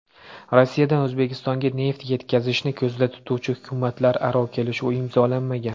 Rossiyadan O‘zbekistonga neft yetkazishni ko‘zda tutuvchi hukumatlararo kelishuv imzolanmagan.